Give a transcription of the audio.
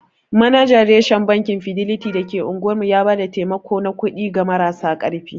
Manajan reshen Bankin fideliti da ke unguwar mu ya ba da taimako na kuɗi ga marasa ƙarfi.